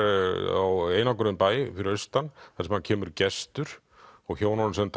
á einangruðum bæ fyrir austan þar sem kemur gestur og hjónunum sem